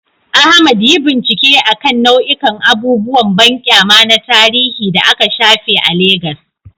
Ahmad, yi bincike akan nau'ikan abubuwan banƙyama na tarihi da aka shafe a Legas.